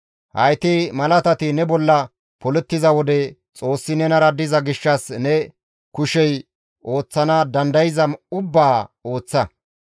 Hayti malatati ne bolla polettiza wode Xoossi nenara diza gishshas ne kushey ooththana dandayza ubbaa ooththa.